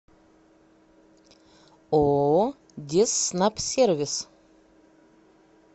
ооо дезснабсервис